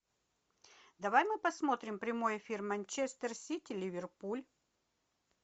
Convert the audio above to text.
давай мы посмотрим прямой эфир манчестер сити ливерпуль